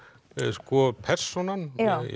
sko persónan